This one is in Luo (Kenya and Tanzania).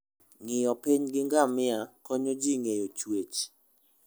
Ng'iyo piny gi ngamia konyo ji ng'eyo chwech.